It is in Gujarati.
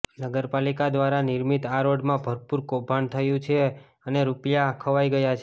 નગરપાલિકા દ્વારા નિર્મિત આ રોડમાં ભરપૂર કૌભાંડ થયું છે અને રૂપિયા ખવાઈ ગયા છે